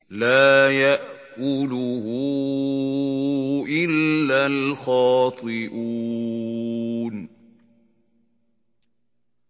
لَّا يَأْكُلُهُ إِلَّا الْخَاطِئُونَ